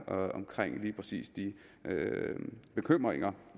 om lige præcis de bekymringer